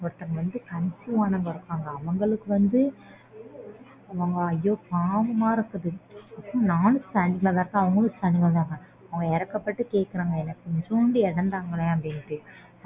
ஒருத்தங்க வந்து ஆனவங்க இருக்காங்க அவங்களுக்கு வந்து ஐயோ பாவமா இருக்குது அவங்க இரக்கப்பட்டு கேக்குறாங்க என்ன கொஞ்சோண்டு இடம் தங்களேன்னு